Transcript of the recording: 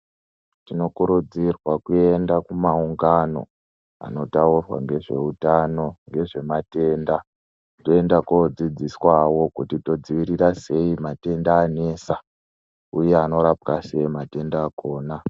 Tinokurudzirwa kuenda kumaungano anotaurwa ngezveutano, ngezvematenda toenda kodzidziswawo kuti todzivirira sei matenda anesa uye anorapwa sei matenda akona.